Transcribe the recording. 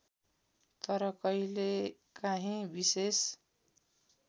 तर कहिलेकाँही विशेष